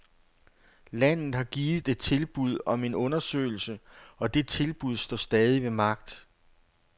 Landet har givet et tilbud om en undersøgelse, og det tilbud står stadig ved magt.